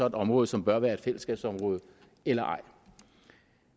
et område som bør være et fællesskabsområde eller ej